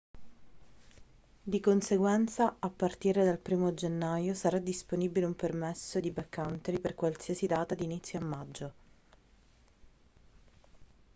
di conseguenza a partire dal 1° gennaio sarà disponibile un permesso di backcountry per qualsiasi data d'inizio a maggio